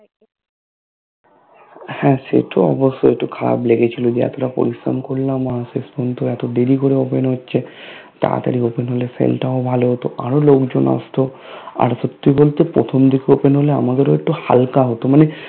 হা সে তো অবশ্যই একটু খারাপ লেগেছিলো যে এতটা পরিশ্রম করলাম আর শেষ পর্যন্ত এতো দেরি করে Open হচ্ছে তাড়াতাড়ি Open হলে Sale টাও ভালো হতো আরো লোকজন আসতো আর সত্যি বলতে প্রথম দিকে Open হলে আমাদের ও একটু হালকা হতো মানে